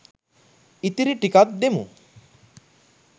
ඉතිරි ටිකත් දෙමු